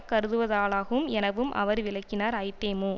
கருதுவதாலாகும் எனவும் அவர் விளக்கினார் ஐதேமு